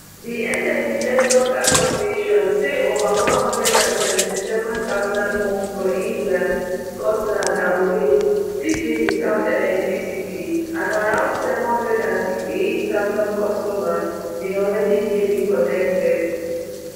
di energy networks association say over one hundred and seventy-seven thousand homes for england scotland and wales still dey without electricity and around seven hundred and sixty-eight thousand customers bin already dey reconnected